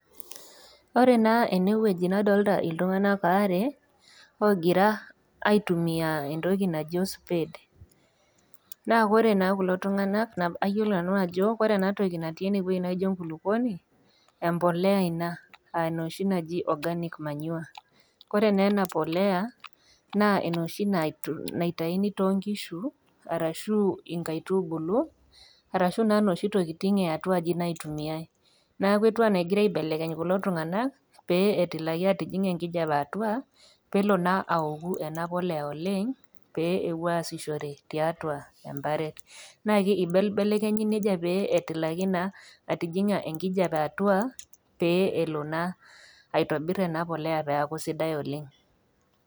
Ore naa enewueji nadolita iltung'ana aare ogira aitumia entoki naji ospade, naa ore naa kulo tung'ana ayiolo nanu ajo ore ena toki natii ene naijo enkulukuoni, embolea ina a enoshi naji organic manure. Ore naa ena polea, naa enoshi naitaini toonkishu arashu inkaitubulu arashu naa noshi tokitin e atuai naitumiai. Neaku etiu anaa egira aibelekeny kulo tund'ana pee etilaki atijing'a enkijape atua pelo naa aoku ena polea oleng pee ewoi aasishore tiatua embaret. Naa eibelibelekenyi neija petilaki naa atijing'a enkijape atua pee elo naa aitobir ena polea peaku sidai oleng.